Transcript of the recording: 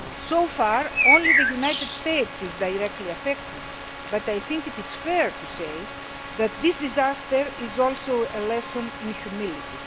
So far, only the United States is directly affected but I think it is fair to say that this disaster is also a lesson in humility.